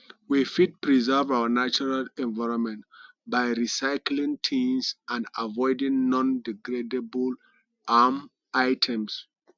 we fit preserve our natural environment by recycling things and avoiding nondegradable um items